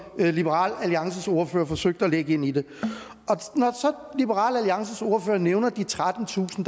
liberal alliances ordfører forsøgte at lægge ind i det liberal alliances ordfører nævner de trettentusind